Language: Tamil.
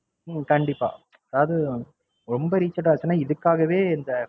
உம் கண்டிப்பா. அதாவது ரொம்ப reach out ஆச்சின்னா இதுக்காகவே தான்